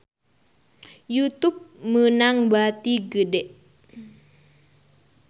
Youtube meunang bati gede